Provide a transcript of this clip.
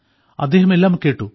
അവർ എല്ലാം കേട്ടു